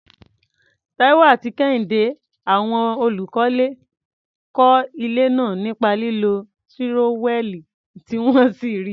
Taiwo àti Kehinde, àwọn olùkọ́lé, kọ́ ilé náà nípa lílo tírówẹ́ẹ̀lì tí wọ́n sì rí i.